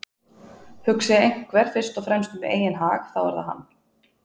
Hugsi einhver fyrst og fremst um eigin hag þá er það hann.